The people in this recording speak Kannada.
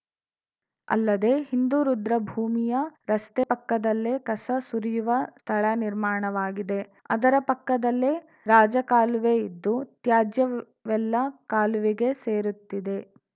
ಅಲ್ಲದೆ ಹಿಂದೂ ರುದ್ರಭೂಮಿಯ ರಸ್ತೆ ಪಕ್ಕದಲ್ಲೇ ಕಸ ಸುರಿಯುವ ಸ್ಥಳ ನಿರ್ಮಾಣವಾಗಿದೆ ಅದರ ಪಕ್ಕದಲ್ಲೇ ರಾಜಕಾಲುವೆ ಇದ್ದು ತ್ಯಾಜ್ಯವೆಲ್ಲಾ ಕಾಲುವೆಗೆ ಸೇರುತ್ತಿದೆ